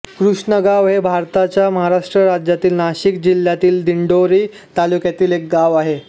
कृष्णगाव हे भारताच्या महाराष्ट्र राज्यातील नाशिक जिल्ह्यातील दिंडोरी तालुक्यातील एक गाव आहे